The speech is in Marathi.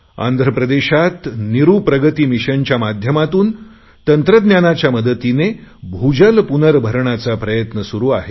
आंध्र प्रदेशात निरु प्रगती मिशनच्या माध्यमातून तंत्रज्ञानांच्या मदतीने भूजल पुनर्भरणाचा प्रयत्न सुरु आहे